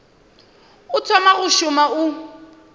o thoma go šoma o